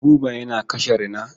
Buba yana kashe rina.